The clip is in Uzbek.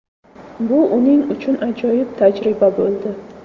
Bu uning uchun ajoyib tajriba bo‘ldi.